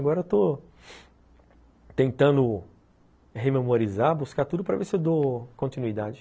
Agora estou tentando rememorizar, buscar tudo para ver se eu dou continuidade.